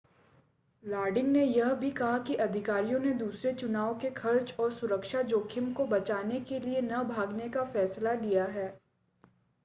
लॉडिन ने यह भी कहा कि अधिकारियों ने दूसरे चुनाव के खर्च और सुरक्षा जोखिम को बचाने के लिए न भागने का फैसला लिया है